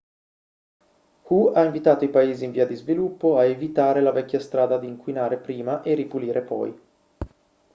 hu ha invitato i paesi in via di sviluppo a evitare la vecchia strada di inquinare prima e ripulire poi